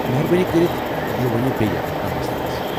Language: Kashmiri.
مہربٲنی کٔرتھ یہِ ؤنیو بیٛیہ اگر کانٛہہ مسلہٕ آسہِ۔